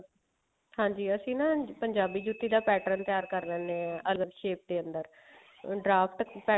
ਹਾਂਜੀ ਅਸੀਂ ਨਾ ਪੰਜਾਬੀ ਜੁੱਤੀ ਦਾ pattern ਤਿਆਰ ਕਰ ਲੈਂਦੇ ਹਾਂ other shape ਦੇ ਅੰਦਰ ਉਹ draft pattern